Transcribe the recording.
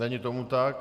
Není tomu tak.